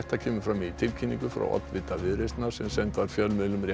kemur fram í tilkynningu frá oddvita Viðreisnar sem send var fjölmiðlum